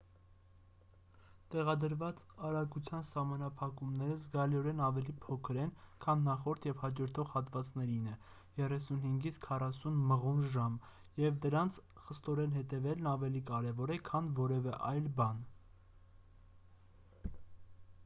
տեղադրված արագության սահմանափակումները զգալիորեն ավելի փոքր են քան նախորդ և հաջորդող հատվածներինը՝ 35-40 մղ./ժ 56-64 կմ/ժ և դրանց խստորեն հետևելն ավելի կարևոր է քան որևէ այլ բան: